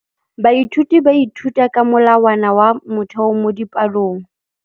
Baithuti ba ithuta ka molawana wa motheo mo dipalong.